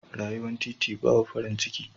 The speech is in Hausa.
Rayuwar titi babu farin ciki.